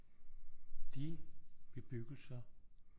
De bebyggelser